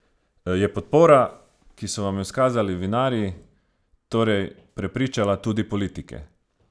Je podpora, ki so vam jo izkazali vinarji, torej prepričala tudi politike?